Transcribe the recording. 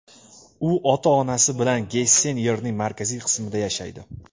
U ota-onasi bilan Gessen yerining markaziy qismida yashaydi.